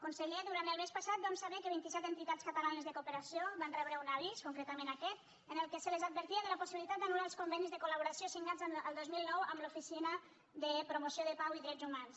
conseller durant el mes passat vam saber que vint i set entitats catalanes de cooperació van rebre un avís concretament aquest en què se les advertia de la possibilitat d’anul·lar els convenis de colamb l’oficina de promoció de la pau i dels drets humans